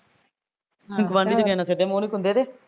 ਗੁਆਡੀ ਤੇ ਕਿਸੇ ਨਾਲ਼ ਸਿੱਧੇ ਮੁਹ ਨੀ ਕੁੰਦੇ ਦੇ